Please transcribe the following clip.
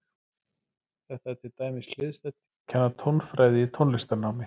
Þetta er til dæmis hliðstætt því að kenna tónfræði í tónlistarnámi.